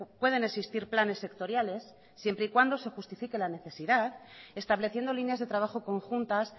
pueden existir planes sectoriales siempre y cuando se justifique la necesidad estableciendo líneas de trabajo conjuntas